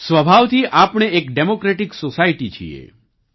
સ્વભાવથી આપણે એક ડેમોક્રેટિક સોસાયટી છીએ